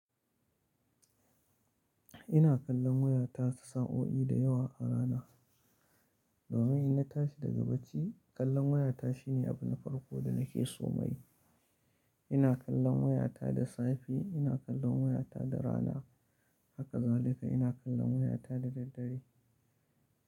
Ina kallon wayata sa'o'i da yawa a rana. Domin ina tashi daga bacci, kallon wayata shine abu na farko da nake so mai. Ina kallon wayata da safe, ina kallon wayata da rana, haka zalika ina kallon wayata da daddare.